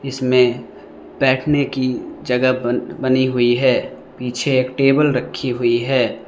इसमें बैठने की जगह बनी हुई है पीछे एक टेबल रखी हुई है।